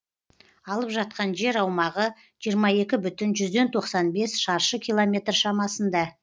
алып жатқан жер аумағы жиырма екі бүтін жүзден тоқсан бес шаршы километр шамасында